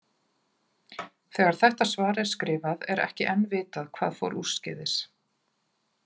Þegar þetta svar er skrifað, er ekki enn vitað hvað fór úrskeiðis.